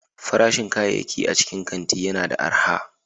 Farashin kayayyaki a cikin kanti yana da arha.